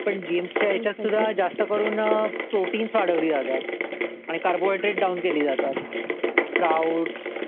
पण जेम्स च्या ह्याच्यात सुद्धा जास्त करून प्रोटिन्स वाढवले जातात आणि कार्बोहायड्रेड्स डाउन केली जातात स्प्राऊट